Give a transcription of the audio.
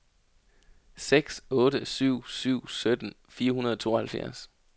seks otte syv syv sytten fire hundrede og tooghalvfjerds